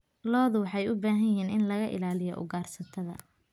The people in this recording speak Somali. Lo'du waxay u baahan yihiin in laga ilaaliyo ugaarsatada.